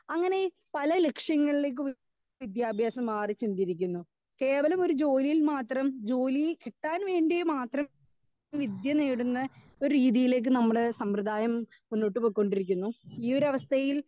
Speaker 2 അങ്ങനെ പല ലക്ഷ്യങ്ങളിലേക്കും വിദ്യാഭ്യാസം മാറി ചിന്തിരിക്കുന്നു. കേരളം ഒരു ജോലിയിൽ മാത്രം ജോലി കിട്ടാൻ വേണ്ടി മാത്രം വിദ്യ നേടുന്ന ഒരു രീതിയിലേക്ക് നമ്മുടെ സാമ്യദായം മുന്നോട്ട് പൊക്കോണ്ടിരിക്കുന്നു ഈ ഒരു അവസ്ഥയിൽ